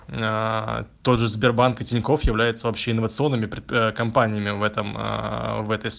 тоже сбербанка тинькофф является вообще инновационными компаниями в этом